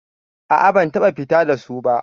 A'a, ban taɓa fita da su ba.